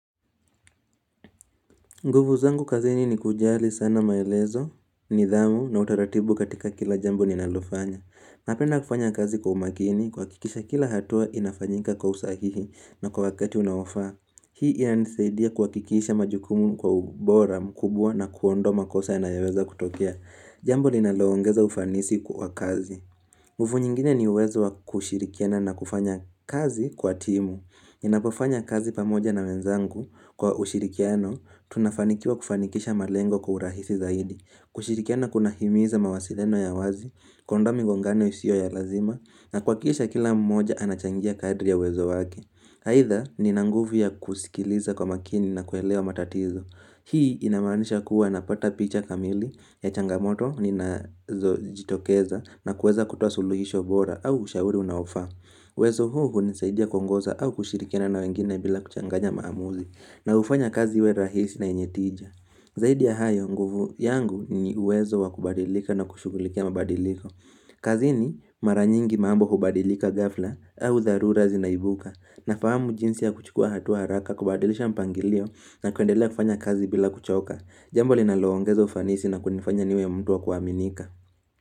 Nguvu zangu kazini ni kujali sana maelezo, nidhamu na utaratibu katika kila jambo ninalofanya. Napenda kufanya kazi kwa umakini, kuakikisha kila hatua inafanyika kwa usahihi na kwa wakati unaofaa. Hii inisaidia kuakikisha majukumu kwa ubora mkubwa na kuondoa makosa yanayoweza kutokea. Jambo ninaloongeza ufanisi kwa kazi. Nguvu nyingine ni uwezo wa kushirikiana na kufanya kazi kwa timu. Ninapofanya kazi pamoja na wenzangu kwa ushirikiano tunafanikiwa kufanikisha malengo kwa urahisi zaidi kushirikiana kuna himiza mawasiliano ya wazi, kuondoa migongano isiyo ya lazima na kuakikisha kila mmoja anachangia kadri ya uwezo wake Haidha nina nguvu ya kusikiliza kwa makini na kuelewa matatizo Hii inamaanisha kuwa napata picha kamili ya changamoto ninazo jitokeza na kueza kutoa suluhisho bora au ushauri unaofaa uwezo huu unisaidia kuongoza au kushirikiana na wengine bila kuchanganya maamuzi na ufanya kazi iwe rahisi na yenye tija. Zaidi ya hayo yangu ni uwezo wa kubadilika na kushugulikia mabadiliko. Kazini maranyingi mambo hubadilika ghafla au dharura zinaibuka na fahamu jinsi ya kuchukua hatua haraka kubadilisha mpangilio na kuendelea kufanya kazi bila kuchoka. Jambo li naloongeza ufanisi na kunifanya niwe mtu wa kuaminika.